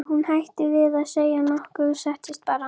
Og hún hætti við að segja nokkuð og settist bara.